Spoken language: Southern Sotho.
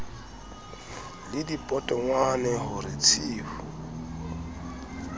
le dipotongwane ho re tshiu